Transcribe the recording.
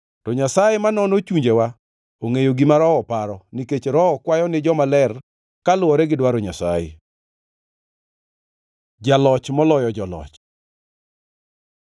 To Nyasaye ma nono chunjewa, ongʼeyo gima Roho paro, nikech Roho kwayo ni jomaler kaluwore gi dwaro Nyasaye. Jaloch moloyo joloch